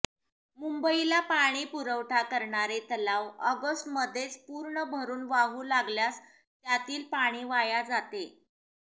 मुंबईला पाणीपुरवठा करणारे तलाव ऑगस्टमध्येच पूर्ण भरून वाहू लागल्यास त्यातील पाणी वाया जाते